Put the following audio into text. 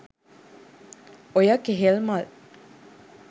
ඔය කෙහෙල් මල්